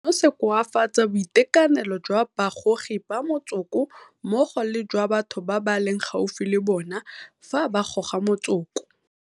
Seno se koafatsa boitekanelo jwa bagogi ba motsoko mmogo le jwa batho ba ba leng gaufi le bona fa ba goga motsoko.